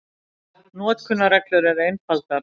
Notkunarreglur eru einfaldar.